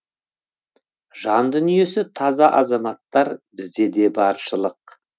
жан дүниесі таза азаматтар бізде де баршылық